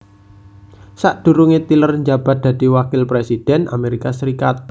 Sakdurunge tyler njabat dadi Wakil Presiden Amerika Serikat